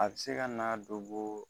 A be se ka na dobo